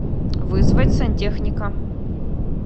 вызвать сантехника